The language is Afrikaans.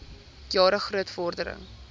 jare groot vordering